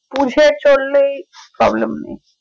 বুঝে চললেই problem নেই